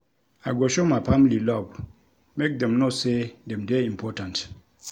I go show my family love make dem know sey dem dey important.